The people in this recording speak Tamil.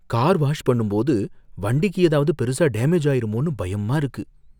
கார் வாஷ் பண்ணும்போது வண்டிக்கு ஏதாவது பெருசா டேமேஜ் ஆயிருமோனு பயமா இருக்கு.